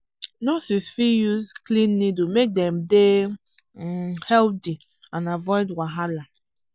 nurses fit use clean needle make dem dey um healthy and avoid wahala.